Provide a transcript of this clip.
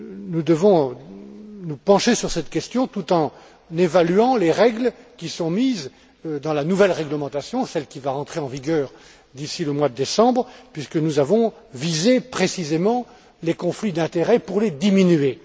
Nous devons nous pencher sur cette question tout en évaluant les règles qui figurent dans la nouvelle réglementation qui va entrer en vigueur d'ici le mois de décembre, puisque nous avons visé précisément les conflits d'intérêts pour les diminuer.